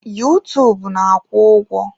Yuutuub na-akwụ ụgwọ.